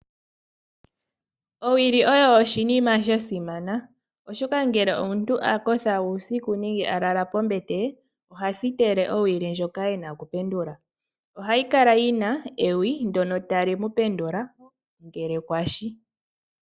Owili oyo oshinima sha simana, oshoka ngele omuntu a kotha uusiku nenge a lala pombete ye oha sitele owili ndjoka ena okupenduka, ohayi kala yina ewi ndono tali ku pendula mo ngele kwashi.